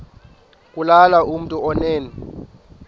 kulula kumntu onen